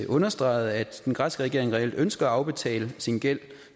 understregede at den græske regering reelt ønsker at afbetale sin gæld